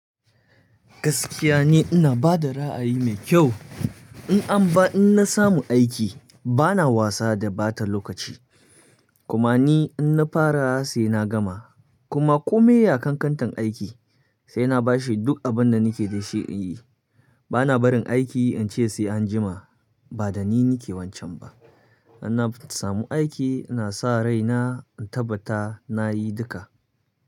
Gaskiya ni ina bada ra'ayi mai kyau. In an ba, in na samu aiki bana wasa da ɓata lokaci. Kuma ni in na fara sai na gama. Kuma komai ya ƙan ƙantar aiki sai na bashi duk abin da nake da shi in yi. Bana barin aiki in ce sai anjima, ba da ni nake wancan ba. In na samu aiki ina sa rai na in tabbata nayi duka.